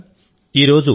మిత్రులారా